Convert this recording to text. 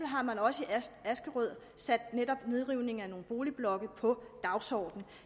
har man også i askerød sat netop nedrivning af nogle boligblokke på dagsordenen